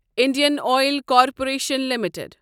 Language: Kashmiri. Indian Oil Corporation limited